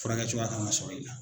Furakɛcogoya kan ka sɔrɔ i la.